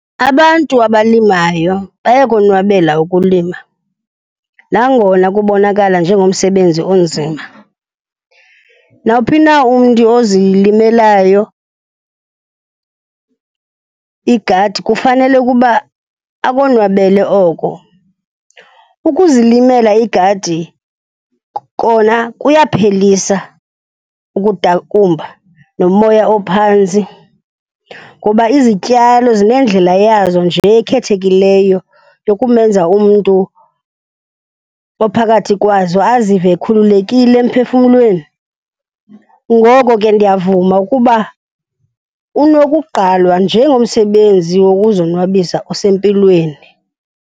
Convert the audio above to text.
Abantu abalimayo bayakonwabela ukulima nangona kubonakala njengomsebenzi onzima. Nawuphi na umntu ozilimelayo igadi kufanele ukuba akonwabele oko. Ukuzilimela igadi kona kuyaphelisa ukudakumba nomoya ophantsi ngoba izityalo zinendlela yazo nje ekhethekileyo yokumenza umntu ophakathi kwazo azive ekhululekile emphefumlweni. Ngoko ke ndiyavuma ukuba unokugqalwa njengomsebenzi wokuzonwabisa osempilweni.